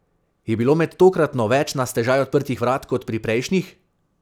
Je bilo med tokratno več na stežaj odprtih vrat kot pri prejšnjih?